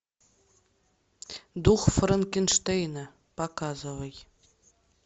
дух франкенштейна показывай